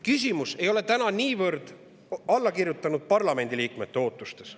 Küsimus ei ole niivõrd allakirjutanud parlamendiliikmete ootustes.